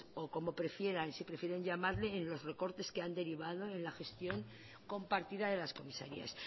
o como prefieran si prefieren llamarle en los recortes que han derivado en la gestión compartida de las comisarías